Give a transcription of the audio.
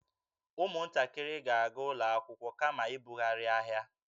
Ụmụntakịrị ga-aga ụlọ akwụkwọ kama ịbughari ahịa